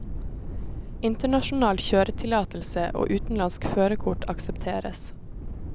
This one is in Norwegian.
Internasjonal kjøretillatelse og utenlandsk førerkort aksepteres.